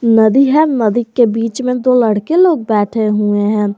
नदी है नदी के बीच में दो लड़के बैठे हुए हैं।